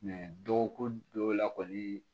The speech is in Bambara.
dɔgɔkun dɔw la kɔni